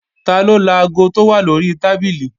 Taló laago tó wà lórí tábìlì?